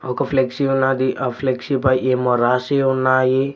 ఒక ఫ్లెక్సీ ఉన్నాది ఆ ఫ్లెక్సీ పై ఏమో రాసి ఉన్నాయి.